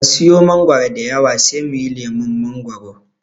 Ka siya mangoro diyawa sai muyi lemon mangoro.